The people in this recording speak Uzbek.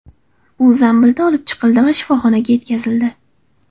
U zambilda olib chiqildi va shifoxonaga yetkazildi.